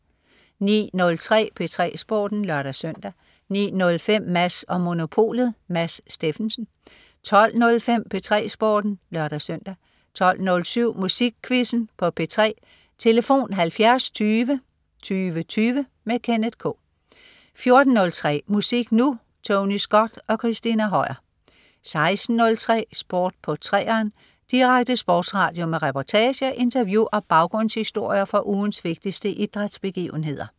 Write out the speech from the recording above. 09.03 P3 Sporten (lør-søn) 09.05 Mads & Monopolet. Mads Steffensen 12.05 P3 Sporten (lør-søn) 12.07 Musikquizzen på P3. Tlf.: 70 20 20 20. Kenneth K 14.03 Musik Nu! Tony Scott og Christina Høier 16.03 Sport på 3'eren. Direkte sportsradio med reportager, interview og baggrundshistorier fra ugens vigtigste idrætsbegivenheder